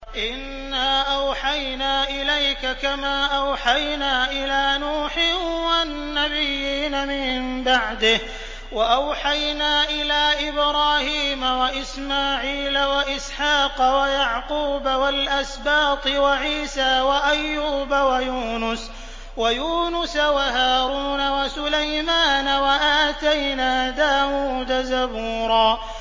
۞ إِنَّا أَوْحَيْنَا إِلَيْكَ كَمَا أَوْحَيْنَا إِلَىٰ نُوحٍ وَالنَّبِيِّينَ مِن بَعْدِهِ ۚ وَأَوْحَيْنَا إِلَىٰ إِبْرَاهِيمَ وَإِسْمَاعِيلَ وَإِسْحَاقَ وَيَعْقُوبَ وَالْأَسْبَاطِ وَعِيسَىٰ وَأَيُّوبَ وَيُونُسَ وَهَارُونَ وَسُلَيْمَانَ ۚ وَآتَيْنَا دَاوُودَ زَبُورًا